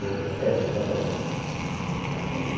Ou até antes, ou até antes.